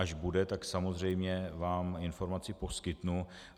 Až bude, tak samozřejmě vám informaci poskytnu.